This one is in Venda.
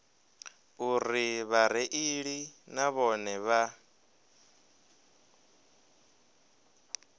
uri vhareili na vhone vha